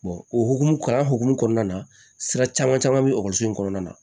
o hukumu kalan hokumu kɔnɔna na sira caman caman bɛ ekɔliso in kɔnɔna na